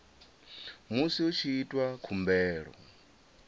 musi hu tshi itwa khumbelo